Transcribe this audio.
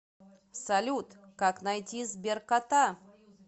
салют как найти сберкота